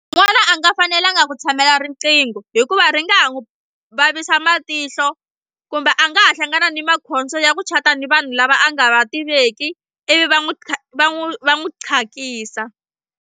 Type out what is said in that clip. N'wana a nga fanelanga ku tshamela riqingho hikuva ri nga ha n'wi vavisa matihlo kumbe a nga ha hlangana ni makhombo ya ku chat-a ni vanhu lava a nga va tiveki ivi va n'wi va n'wi va n'wi .